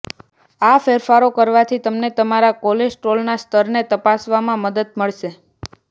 આ ફેરફારો કરવાથી તમને તમારા કોલેસ્ટ્રોલના સ્તરને તપાસવામાં મદદ મળશે